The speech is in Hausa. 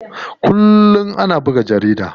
Kullum ana buga jarida.